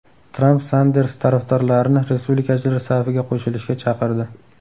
Tramp Sanders tarafdorlarini respublikachilar safiga qo‘shilishga chaqirdi.